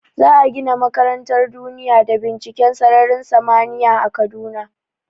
Za a gina makarantar duniya da binciken sararin samaniya a kaduna